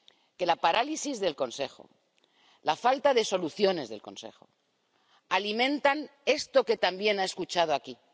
Que la parálisis del Consejo, la falta de soluciones del Consejo alimenta esto que también ha escuchado aquí.